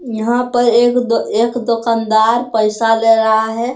यहां पर एक-दो एक दुकानदार पैसा ले रहा है ।